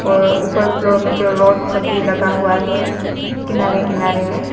और ऊपर फ्लोर मे राड सब भी लगा हुआ है किनारे किनारे में--